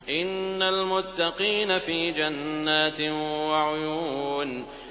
إِنَّ الْمُتَّقِينَ فِي جَنَّاتٍ وَعُيُونٍ